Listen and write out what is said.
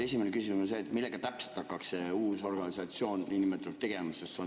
Esimene küsimus on see: millega täpselt hakkaks uus organisatsioon tegelema?